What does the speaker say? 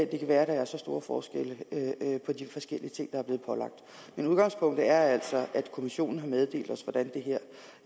kan være at der er så store forskelle på de forskellige ting der er blevet pålagt men udgangspunktet er altså at kommissionen har meddelt